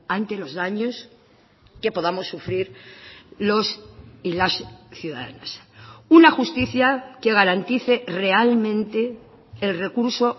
ante los daños que podamos sufrir los y las ciudadanas una justicia que garantice realmente el recurso